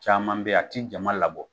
Caman bɛ yen a tɛ jama labɔ